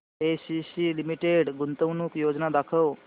ACC limited गुंतवणूक योजना दाखव